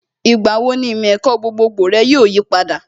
Ìgbà wo ni ìmọ̀ ẹ̀kọ́ gbogbogbò rẹ yóò yipadà?